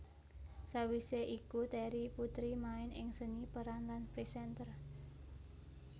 Sawise iku Terry Putri main ing seni peran lan presenter